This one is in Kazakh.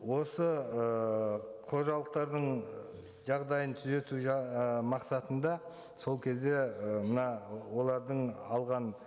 осы ыыы қожалықтардың жағдайын түзету ы мақсатында сол кезде і мына олардың алған